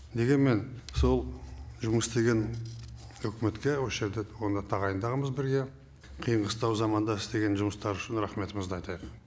дегенмен сол жұмыс істеген үкіметке осы жерде тағайындағанбыз бірге қиын қыстау кезеңде жұмыс істегені үшін рахметімізді айтайық